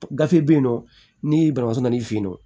Gafe be yen nɔ ni banabaatɔ nan'i fen yen nɔ